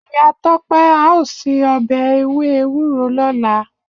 Iya Tope ao se obe ewe ewuro lola.